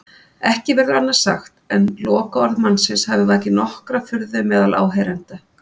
Ekki verður annað sagt en lokaorð mannsins hafi vakið nokkra furðu meðal áheyrenda.